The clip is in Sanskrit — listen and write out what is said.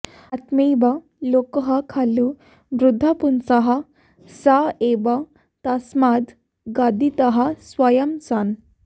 आत्मैव लोकः खलु बुद्धपुंसः स एव तस्माद् गदितः स्वयं सन्